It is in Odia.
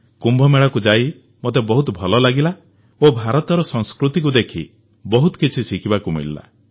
କୁମ୍ଭମେଳାକୁ ଯାଇ ମୋତେ ବହୁତ ଭଲ ଲାଗିଲା ଓ ଭାରତର ସଂସ୍କୃତିକୁ ଦେଖି ବହୁତ କିଛି ଶିଖିବାକୁ ମିଳିଲା